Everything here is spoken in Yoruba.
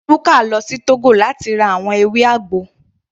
Ruka lọ sí Togo láti ra àwọn ewé àgbo.